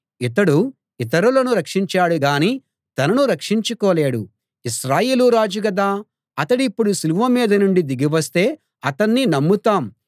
ఇతడు ఇతరులను రక్షించాడు గానీ తనను రక్షించుకోలేడు ఇశ్రాయేలు రాజు గదా అతడిప్పుడు సిలువ మీద నుండి దిగి వస్తే అతణ్ణి నమ్ముతాం